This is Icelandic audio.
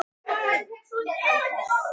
Þannig varð GOTT til.